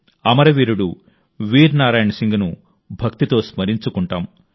అమరవీరుడు వీర్ నారాయణ్ సింగ్ను భక్తితో స్మరించుకుంటాం